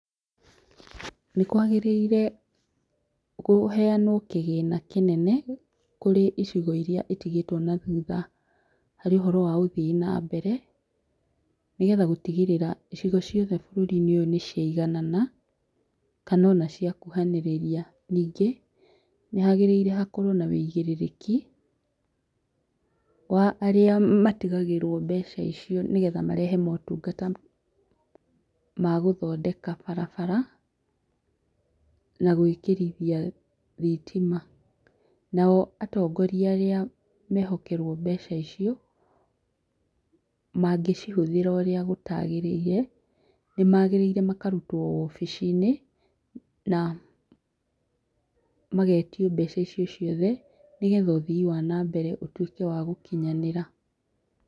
Nĩ kwagĩrĩire kũheanwo kĩgĩna kĩnene kũrĩ icigo iria itigĩtwo na thutha harĩ ũhoro wa ũthii wa na mbere nĩgetha gũtigĩrĩra icigo ciothe bũrũri ũyũ nĩ ciaiganana kana ona ciakuhanĩrĩria ningĩ nĩ hagĩrĩire hakorwo hena woigĩrĩrĩki wa arĩa matigagĩrwo mbeca icio nĩgetha marehe motungata ma gũthondeka barabara na gwĩkirithia thitima. Nao atongoria arĩa mehokeirwo mbeca icio, mangĩcihũthĩra ũrĩa gũtagĩrĩire, nĩ magĩrĩirwo makarutwo wobici-inĩ na magetio mbeca icio ciothe nĩgetha ũthii wa na mbere ũtuĩke wa gũkinyanĩra.